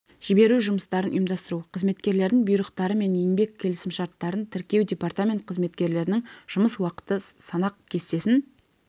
жіберу жұмыстарын ұйымдастыру қызметкерлердің бұйрықтары мен еңбек келісімшарттарын тіркеу департамент қызметкерлерінің жұмыс уақыты санақ кестесін